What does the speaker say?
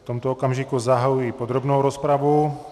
V tomto okamžiku zahajuji podrobnou rozpravu.